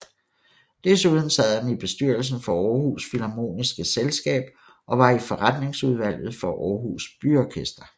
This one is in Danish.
Desuden sad han i bestyrelsen for Aarhus Philharmoniske Selskab og var i forretningsudvalget for Aarhus Byorkester